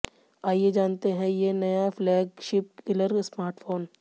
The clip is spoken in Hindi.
आइये जानते हैं ये नया फ्लैगशिप किलर स्मार्टफ़ोन